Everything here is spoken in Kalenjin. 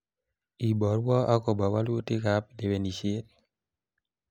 iborwo akobo walutikab lewenisiet